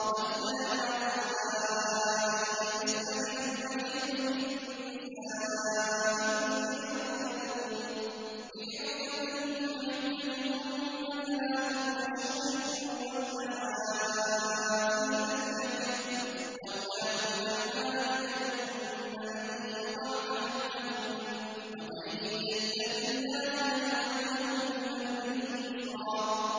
وَاللَّائِي يَئِسْنَ مِنَ الْمَحِيضِ مِن نِّسَائِكُمْ إِنِ ارْتَبْتُمْ فَعِدَّتُهُنَّ ثَلَاثَةُ أَشْهُرٍ وَاللَّائِي لَمْ يَحِضْنَ ۚ وَأُولَاتُ الْأَحْمَالِ أَجَلُهُنَّ أَن يَضَعْنَ حَمْلَهُنَّ ۚ وَمَن يَتَّقِ اللَّهَ يَجْعَل لَّهُ مِنْ أَمْرِهِ يُسْرًا